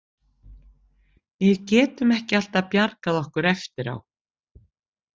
Við getum ekki alltaf bjargað okkur eftir á.